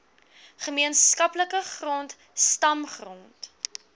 gemeenskaplike grond stamgrond